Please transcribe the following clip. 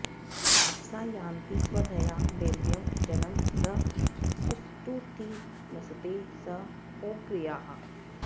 अ॒प्सा या॑ति स्व॒धया॒ दैव्यं॒ जनं॒ सं सु॑ष्टु॒ती नस॑ते॒ सं गोअ॑ग्रया